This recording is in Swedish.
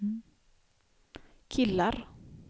killar